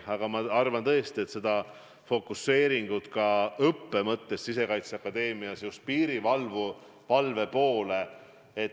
Aga ma arvan tõesti, et fokuseering ka Sisekaitseakadeemia õppes just piirivalve poole on õige.